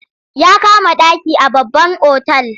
Ya kama ɗaki a babban otal.